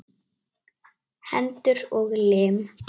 Hendur og lim.